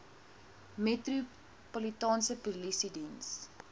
metropolitaanse polisie diens